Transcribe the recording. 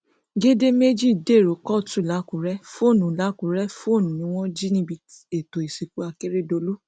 gèdè méjì dèrò kóòtù làkúrẹ fóònù làkúrẹ fóònù ni wọn jí níbi ètò ìsìnkú akérèdọlù